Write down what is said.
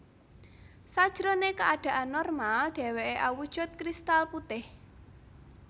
Sajrone keadaan normal deweke awujud kristal putih